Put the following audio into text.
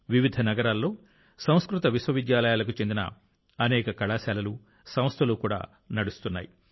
వివిధ నగరాల్లో సంస్కృత విశ్వవిద్యాలయాలకు చెందిన అనేక కళాశాలలు సంస్థలు కూడా నడుస్తున్నాయి